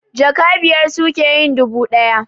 Jaka biyar suke yin dubu ɗaya